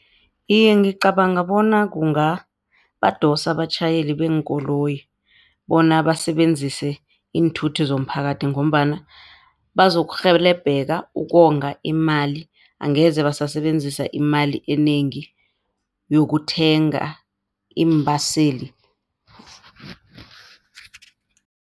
Iye, ngicabanga bona kungabadosa abatjhayeli beenkoloyi bona basebenzise iinthuthi zomphakathi, ngombana bazokurhelebheka ukonga imali angeze basasebenzisa imali enengi yokuthenga iimbaseli.